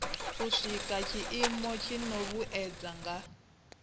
sika tshiimo tshino vhuedza nga